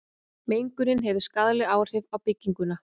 mengunin hefur skaðleg áhrif á bygginguna